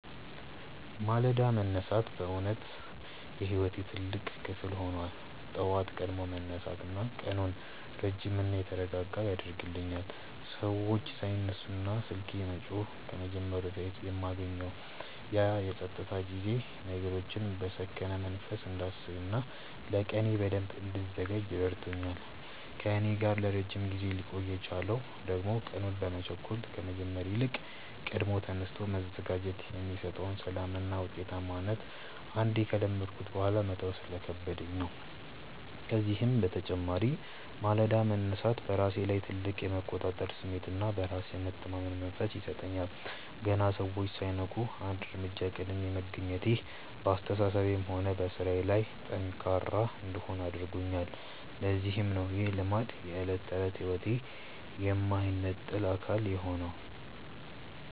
ማለዳ መነሳት በእውነት የሕይወቴ ትልቅ ክፍል ሆኗል። ጠዋት ቀድሞ መነሳት ቀኑን ረጅምና የተረጋጋ ያደርግልኛል፤ ሰዎች ሳይነሱና ስልኬ መጮህ ከመጀመሩ በፊት የማገኘው ያ የፀጥታ ጊዜ ነገሮችን በሰከነ መንፈስ እንዳስብና ለቀኔ በደንብ እንድዘጋጅ ረድቶኛል። ከእኔ ጋር ለረጅም ጊዜ ሊቆይ የቻለው ደግሞ ቀኑን በመቸኮል ከመጀመር ይልቅ ቀድሞ ተነስቶ መዘጋጀት የሚሰጠውን ሰላምና ውጤታማነት አንዴ ከለመድኩት በኋላ መተው ስለከበደኝ ነው። ከዚህም በተጨማሪ ማለዳ መነሳት በራሴ ላይ ትልቅ የመቆጣጠር ስሜትና በራስ የመተማመን መንፈስ ይሰጠኛል። ገና ሰዎች ሳይነቁ አንድ እርምጃ ቀድሜ መገኘቴ በአስተሳሰቤም ሆነ በሥራዬ ላይ ጠንካራ እንድሆን አድርጎኛል፤ ለዚህም ነው ይህ ልማድ የዕለት ተዕለት ሕይወቴ የማይነጠል አካል የሆነው።